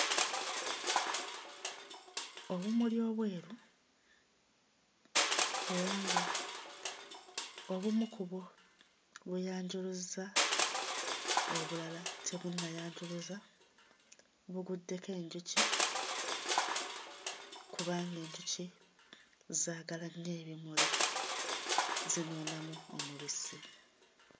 Obumuli obweru era nga obumu ku bwo bweyanjuluzza obulala tebunnayanjuluza, buguddeko enjuki kubanga enjuki zaagala nnyo ebimuli zinuunamu omubisi.